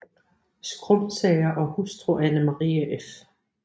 Skrumsager og hustru Ane Marie f